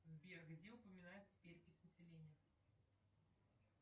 сбер где упоминается перепись населения